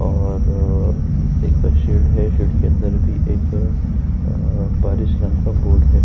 और एक शैड है। शैड के अंदर भी एक अ पारिश नाम का बोर्ड है।